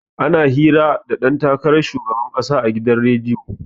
Ana hira da ɗan takaran shugaban ƙasa a gidan rediyo.